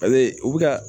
A bɛ u bɛ ka